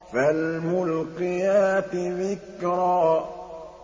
فَالْمُلْقِيَاتِ ذِكْرًا